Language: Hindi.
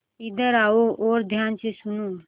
इधर आओ और ध्यान से सुनो